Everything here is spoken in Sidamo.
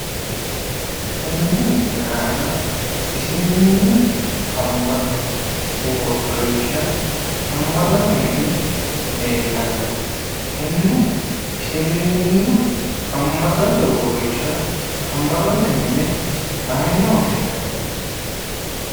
Tenne misile aana isiliminnu amma'no uurrinsha amma'note mini leellanno. Tenne isiliminnu amma'note uurrinsha amma'note mine mayine woshshinanni?